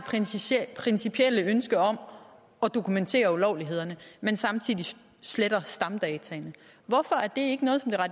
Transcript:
principielle ønske om at dokumentere ulovlighederne men samtidig sletter stamdataene hvorfor er det